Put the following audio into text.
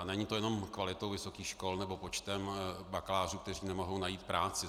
A není to jenom kvalitou vysokých škol nebo počtem bakalářů, kteří nemohou najít práci.